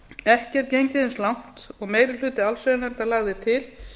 ekki er gengið eins langt og meiri hluti allsherjarnefndar lagði til